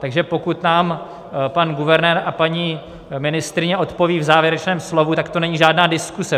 Takže pokud nám pan guvernér a paní ministryně odpovědí v závěrečném slovu, tak to není žádná diskuze.